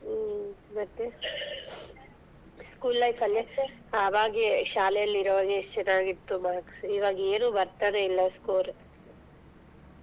ಹ್ಮ್ ಮತ್ತೆ school life ಅಲ್ಲಿ ಅವಾಗೆ ಶಾಲೇಲಿರುವಾಗೆ ಎಷ್ಟ್ ಚೆನ್ನಾಗಿತ್ತು marks ಇವಗೇನು ಬರ್ತಾನೆ ಇಲ್ಲಾ score .